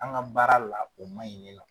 An ka baara la o man ɲi ne la.